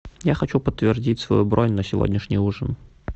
я хочу подтвердить свою бронь на сегодняшний ужин